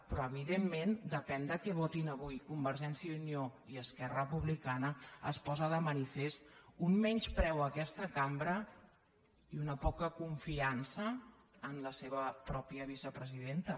però evidentment depèn de què votin avui convergència i unió i esquerra republicana es posa de manifest un menyspreu a aquesta cambra i una poca confiança en la seva pròpia vicepresidenta